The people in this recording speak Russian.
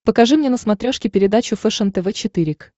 покажи мне на смотрешке передачу фэшен тв четыре к